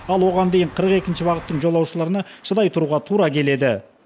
ал оған дейін қырық екінші бағыттың жолаушыларына шыдай тұруға тура келеді